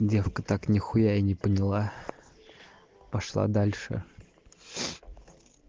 девка так нихуя и не поняла пошла дальше